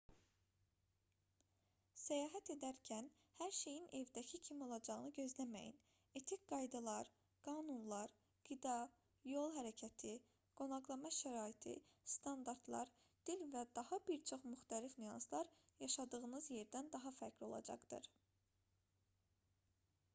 səyahət edərkən hər şeyin evdəki kimi olacağını gözləməyin etik qaydalar qanunlar qida yol hərəkəti qonaqlama şəraiti standartlar dil və daha bir çox müxtəlif nüanslar yaşadığınız yerdən daha fərqli olacaqdır